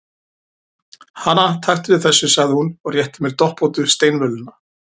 Hana, taktu við þessu, sagði hún og rétti mér doppóttu steinvöluna.